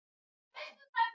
Árekstur á Vesturlandsvegi